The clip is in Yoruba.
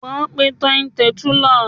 O máa pe Tony Tẹ̀túílà.